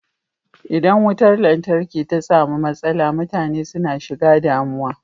Idan mutar lantarki ta samu matsala mutane suna shiga damuwa.